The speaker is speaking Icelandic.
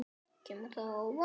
Kemur það á óvart?